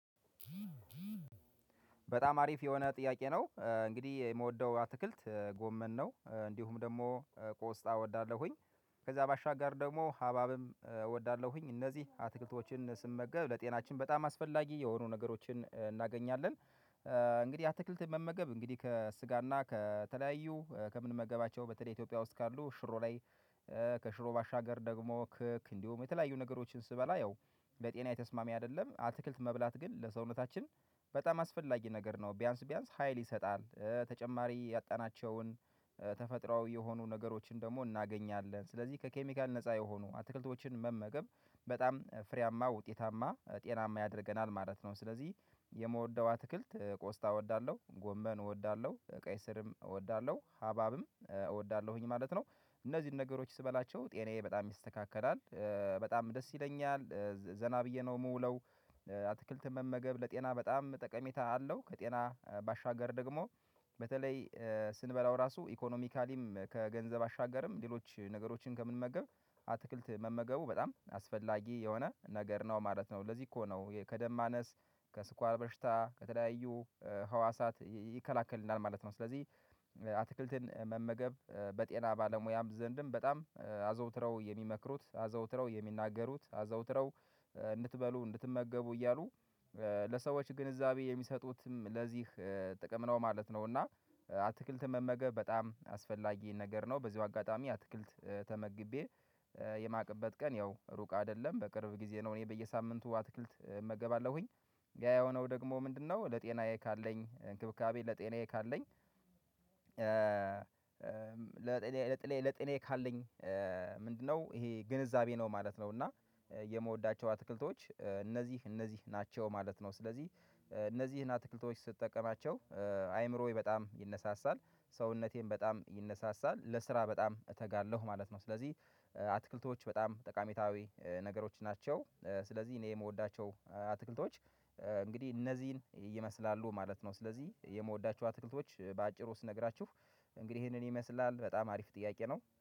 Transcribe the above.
በጣም አሪፍ የሆነ ጥያቄ ነው። እንግዲህ የምወደው አትክልት ጎመን ነው፣ እንዲሁም ደግሞ ቆስጣ እወዳለሁኝ። ከዛ ባሻገር ደግሞ ሀብሀብም እወዳለሁኝ። እነዚህ አትክልቶችን ስመገብ ለጤናችን በጣም አስፈላጊ የሆኑ ነገሮችን እናገኛለን። እንግዲህ አትክልት መመገብ እንግዲህ ከስጋ እና ከተለያዩ ከምንመገባቸው በተለይ ኢትዮጵያ ውስጥ ካሉ ሽሮ ላይ ከሽሮ ባሻገር ደግሞ ክክ እንዲሁም የተለያዩ ነገሮችን ስበላ ያው ለጤናዬ ተስማሚ አይደለም አትክልት መብላት ግን ለሰውነታችን በጣም አስፈላጊ ነገር ነው። ቢያንስ ቢያንስ ሀይል ይሰጥሃል ተጨማሪ ያጣናቸውን ተፈጥሯዊ የሆኑ ነገሮችን ደግሞ እናገኛለን። ስለዚህ ከኬሚካል ነፃ የሆኑ አትክልቶችን መመገብ በጣም ፍሬያማ፣ ውጤታማ፣ ጤናማ ያደርገናል ማለት ነው። ስለዚህ የምወደው አትክልት ቆስጣ እወዳለሁ፣ ጎመን እወዳለሁ፣ ቀይ ስርም እወዳለሁ፣ ሀብሀብም እወዳለሁኝ ማለት ነው። እነዚህን ነገሮች ስበላቸው ጤናዬ በጣም ይስተካከላል። በጣም ደስ ይለኛል። ዘና ብዬ ነው ምውለው አትክልት መመገብ ለጤና በጣም ጠቀሜታ አለው። ከጤና ባሻገር ደግሞ በተለይ ስንበላው ራሱ ኢኮኖሚካሊም ከገንዘብ አሻገርም ሌሎች ነገሮችን ከምንመገብ አትክልት መመገቡ በጣም አስፈላጊ የሆነ ነገር ነው ማለት ነው። ለዚህ እኮ ነው ይሄ ከደም ማነስ ከስኳር በሽታ ከተለያዩ ህዋሳት ይ ይከላከልልናል ማለት ነው ስለዚህ አትክልትን መመገብ በጤና ባለሙያም ዘንድም በጣም አዘውትረው የሚመክሩት፣ አዘውትረው የሚናገሩት፣ አዘውትረው እንድትበሉ፣ እንድትመገቡ እያሉ ለሰዎች ግንዛቤ የሚሰጡትም ለዚህ ጥቅም ነው ማለት ነው እና አትክልትን መመገብ በጣም አስፈላጊ ነገር ነው በዚሁ አጋጣሚ አትክልት ተመግቤ የማቅበት ቀን ያው ሩቅ አይደለም፣ በቅርብ ጊዜ ነው። እኔ በየሳምንቱ አትክልት እመገባለሁኝ። ያ የሆነው ደግሞ ምንድነው ለጤናዬ ካለኝ እንክብካቤ ለጤናዬ ካለኝ ለጥኔ ለጤናዬ ካለኝ ምንድነው ይሄ ግንዛቤ ነው ማለት ነው እና የምወዳቸው አትክልቶች እነዚህ እነዚህ ናቸው ማለት ነው ስለዚህ እነዚህን አትክልቶች ስጠቀማቸው አይምሮዬ በጣም ይነሳሳል፣ ሰውነቴም በጣም ይነሳሳል፣ ለስራ በጣም እተጋለሁ ማለት ነው ስለዚህ አትክልቶች በጣም ጠቃሜታዊ ነገሮች ናቸው። ስለዚህ እኔ የምወዳቸው አትክልቶች እንግዲህ እነዚህን ይመስላሉ ማለት ነው። ስለዚህ የምወዳቸው አትክልቶች በአጭሩ ስነግራችሁ እንግዲህ ይሄንን ይመስላል። በጣም አሪፍ ጥያቄ ነው።